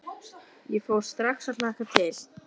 Ég fór strax að hlakka til.